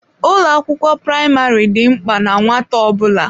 Ụlọ akwụkwọ praịmarị dị mkpa na nwata ọ bụla.